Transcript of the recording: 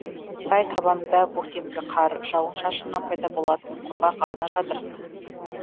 сай табанында көктемгі қар жауын шашыннан пайда болатын құрғақ арна жатыр